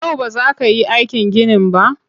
Yau ba za ka yi aikin ginin ba?